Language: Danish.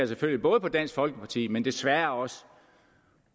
selvfølgelig på dansk folkeparti men desværre også